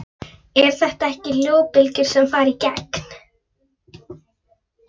Eru þetta ekki hljóðbylgjur sem fara í gegn?